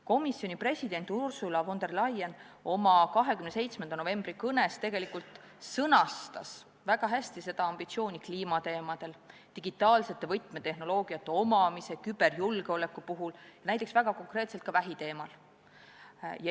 Komisjon president Ursula von der Leyen sõnastas oma 27. novembri kõnes väga hästi ambitsiooni kliimateemadel, digitaalsete võtmetehnoloogiate omamise ja küberjulgeoleku teemadel, näiteks väga konkreetselt ka vähiteemal.